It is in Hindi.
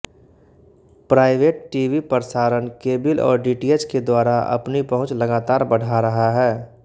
प्राइवेट टीवी प्रसारण केबिल और डीटीएच के द्वारा अपनी पहुँच लगातार बढ़ा रहा है